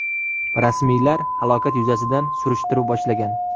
Rasmiylar halokat yuzasidan surishtiruv boshlagan.